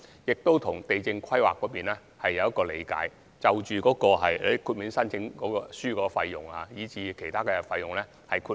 就地政規劃方面，我們跟地政總署有一項理解，即申請書費用及其他費用可獲得豁免。